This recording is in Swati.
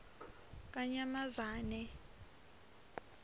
kanyamazane